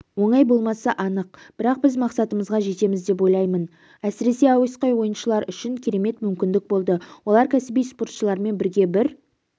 оңай болмасы анық бірақ біз мақсатымызға жетеміз деп ойлаймын әсіресе әуесқой ойыншылар үшін керемет мүмкіндік болды олар кәсіби спортшылармен бірге бір